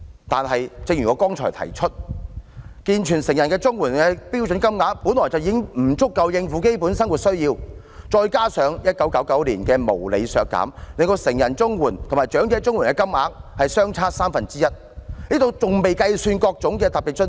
可是，正如我剛才提出，健全成人綜援的標準金額本來已不足以應付基本生活需要，再加上1999年時的無理削減，令成人綜援和長者綜援的金額相差三分之一，這還未計算各種特別津貼。